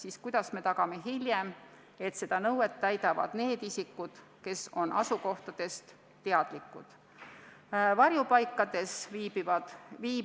Aga kuidas me saame edaspidi tagada, et seda nõuet täidavad ka need teised isikud, kes on asukohtadest teadlikuks saanud?